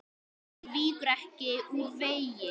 Hann víkur ekki úr vegi.